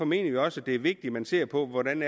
mener også det er vigtigt at man ser på hvordan